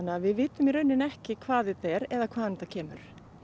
að við vitum í rauninni ekki hvað þetta er eða hvaðan þetta kemur